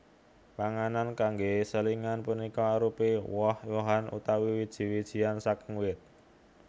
Panganan kanggé selingan punika arupi woh wohan utawi wiji wijian saking wit